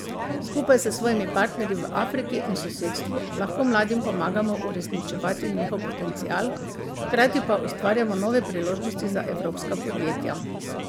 Skupaj s svojimi partnerji v Afriki in sosedstvu lahko mladim pomagamo uresničevati njihov potencial, hkrati pa ustvarjamo nove priložnosti za evropska podjetja.